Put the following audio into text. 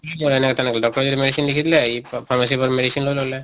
কৰে এনেকা তেনেকা doctor য়ে medicine লিখি দিলে ই pharmacy ৰ পৰা medicine লৈ ললে।